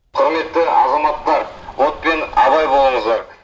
құрметті азаматтар отпен абай болыңыздар